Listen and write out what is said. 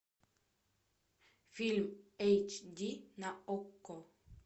фильм эйч ди на окко